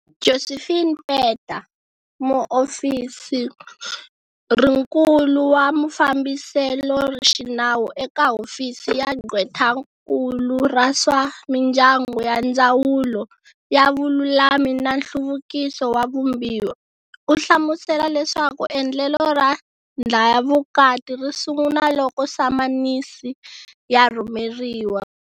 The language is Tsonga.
Josephine Peta, Muofosirinkulu wa Mafambiseloxinawu eka Hofisi ya Gqwetakulu ra swa Mindyangu ya Ndzawulo ya Vululami na Nhluvukiso wa Vumbiwa, u hlamusela leswaku endlelo ra ndlhayavukati ri sungula loko samanisi ya rhumeriwa.